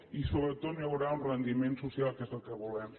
i sobretot no hi haurà un rendiment social que és el que volem